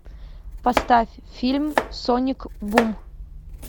поставь фильм соник бум